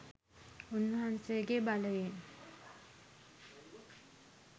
උන්වන්සේගේ බලයෙන්